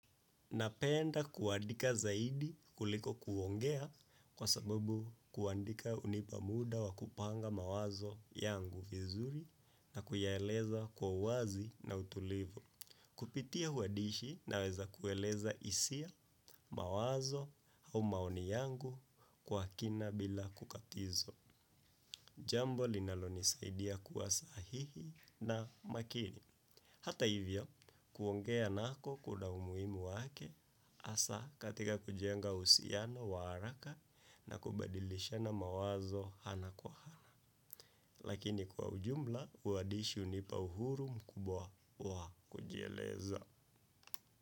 Napenda kuandika zaidi kuliko kuongea kwa sababu kuandika hunipa muda wa kupanga mawazo yangu vizuri na kuyaeleza kwa uwazi na utulivu. Kupitia uandishi naweza kueleza hisia mawazo au maoni yangu kwa kina bila kukatizwa. Jambo linalonisaidia kuwa sahihi na makini. Hata hivyo, kuongea nako kuna umuhimu wake, hasa katika kujenga husiano wa haraka na kubadilishana mawazo hana kwa hana. Lakini kwa ujumla, uandishi hunipa uhuru mkubwa wa kujieleza.